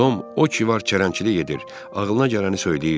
Tom o ki var çərənləçilik edir, ağılına gələni söyləyirdi.